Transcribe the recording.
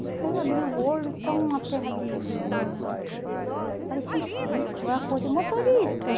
Aí eu abri o olho, então uma terra de de hum... parecia um sítio, aí eu acordei, motorista.